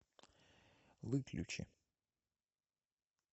выключи